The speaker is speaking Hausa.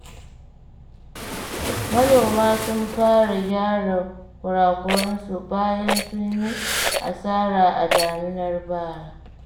Manoma sun fara gyara kurakurensu, bayan sun yi asara a daminar bara.